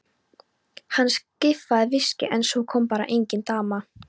Hann skaffaði viskíið en svo kom bara engin dama.